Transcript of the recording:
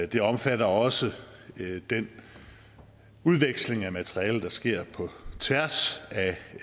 det omfatter også den udveksling af materialer der sker på tværs